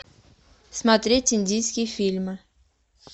смотреть индийские фильмы